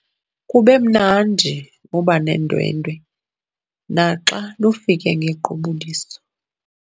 Kube mnandi ukuba nondwendwe naxa lufike ngequbuliso.